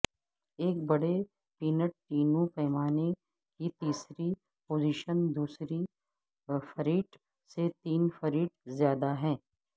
ایک بڑے پینٹیٹینو پیمانے کی تیسری پوزیشن دوسری فریٹ سے تین فریٹ زیادہ ہے